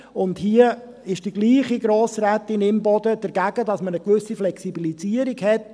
Und hier ist dieselbe Grossrätin Imboden dagegen, dass man eine gewisse Flexibilisierung hat.